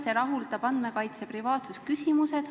See rahuldab andmekaitse privaatsusküsimused.